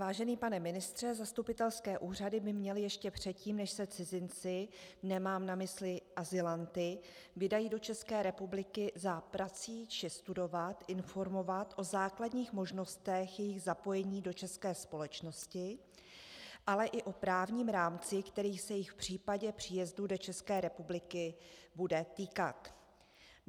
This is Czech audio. Vážený pane ministře, zastupitelské úřady by měly ještě předtím, než se cizinci - nemám na mysli azylanty - vydají do České republiky za prací či studovat, informovat o základních možnostech jejich zapojení do české společnosti, ale i o právním rámci, který se jich v případě příjezdu do České republiky bude týkat.